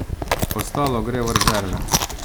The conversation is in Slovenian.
Ostalo gre v rezerve.